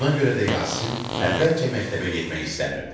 Buna görə də Yasin əvvəlcə məktəbə getmək istəmirdi.